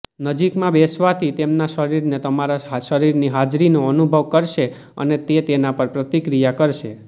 નજીકમાં બેસવાથી તેમના શરીરને તમારા શરીરની હાજરીનો અનુભવ કરશે અને તે તેના પર પ્રતિક્રિયા કરશે